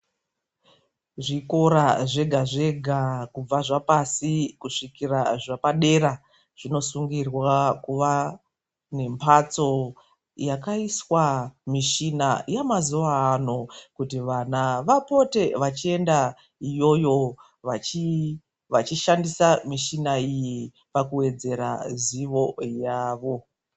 Zvikora zvega zvega kubva zvapasi kusvika zvapadera zvinosungirwa kuva nemhatso yakaiswa mishina yamazuwa ano kuti vana vapote vachienda iyoyo vachishandisa mishina iyi pakuwedzera zivo yavo.